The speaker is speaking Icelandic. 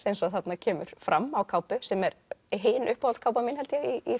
eins og þarna kemur fram á kápu sem er hin mín held ég í